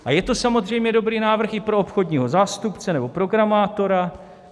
A je to samozřejmě dobrý návrh i pro obchodního zástupce nebo programátora.